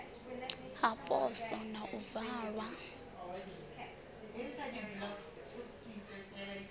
ha poswo na u valwa